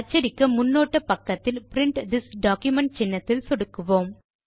அச்சடிக்க முன்னோட்ட பக்கத்தில் பிரின்ட் திஸ் டாக்குமென்ட் சின்னத்தில் சொடுக்குக